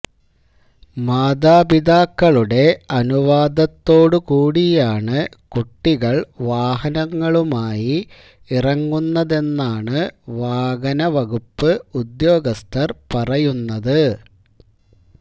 മാതാപിതാക്കളുടെ അനുവാദത്തോടുകൂടിയാണ് കുട്ടികള് വാഹനങ്ങളുമായി ഇറങ്ങുന്നതെന്നാണ് വാഹനവകുപ്പ് ഉദ്യോഗസ്ഥര് പറയുന്നത്